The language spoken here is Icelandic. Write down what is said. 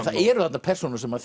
það eru þarna persónur sem